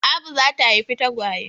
Abu za ta haifi tagwaye.